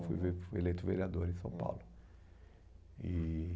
Fui ver fui eleito vereador em São Paulo. E